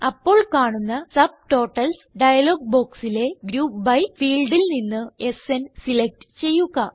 അപ്പോൾ കാണുന്ന subtotals dialogue ബോക്സിലെ ഗ്രൂപ്പ് ബി ഫീൽഡിൽ നിന്ന് സ്ന് സിലക്റ്റ് ചെയ്യുക